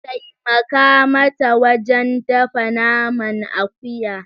Taimaka mata wajen dafa naman akuya.